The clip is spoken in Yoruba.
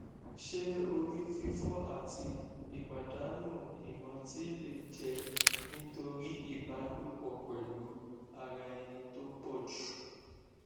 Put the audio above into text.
ṣé orí fifo àti ìpàdánù ìrántí lè jẹ nítorí iba lopo pelu ara eni tó pọjù